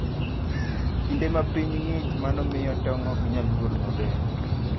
Kinde ma piny ng'ich, mano miyo tong' ok nyal nyuol maber.